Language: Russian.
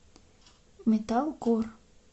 металкор